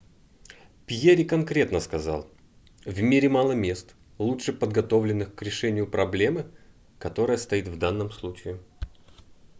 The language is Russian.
перри конкретно сказал в мире мало мест лучше подготовленных к решению проблемы которая стоит в данном случае